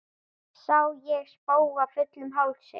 Sá ég spóa fullum hálsi.